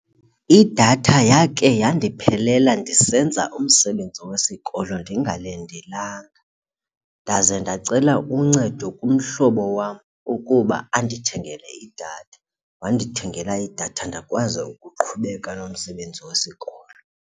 Idatha yakhe yandiphelela ndisenza umsebenzi wesikolo ndingalindelanga, ndaze ndacela uncedo kumhlobo wam ukuba andithengele idatha. Wandithengele idatha ndakwazi ukuqhubeka nomsebenzi wesikolo.